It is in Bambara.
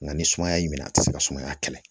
Nka ni sumaya y'i minɛ a ti se ka sumaya kɛlɛ